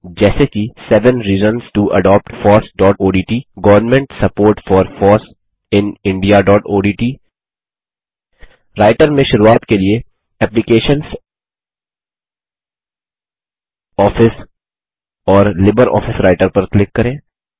जैसे कि seven reasons to adopt fossओडीटी government support for foss in indiaओडीटी राइटर में शुरूआत के लिए एप्लिकेशंस आफिस और लिब्रियोफिस राइटर पर क्लिक करें